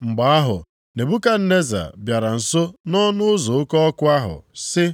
Mgbe ahụ Nebukadneza, bịara nso nʼọnụ ụzọ oke ọkụ ahụ sị,